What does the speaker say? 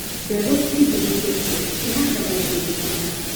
mbegũ cigĩhĩtokia cihandagũo kũndũ kũna